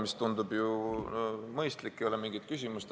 See tundub ju mõistlik, ei ole mingit küsimust.